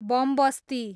बमबस्ती